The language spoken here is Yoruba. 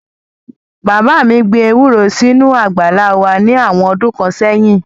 Bàbá mi gbin ewúro sínú àgbàlá wá ní àwọn ọdún kan sẹ́yìn